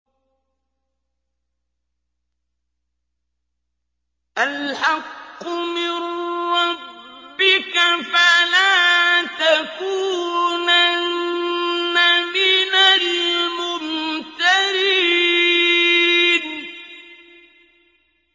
الْحَقُّ مِن رَّبِّكَ ۖ فَلَا تَكُونَنَّ مِنَ الْمُمْتَرِينَ